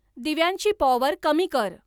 दिव्यांची पॉवर कमी कर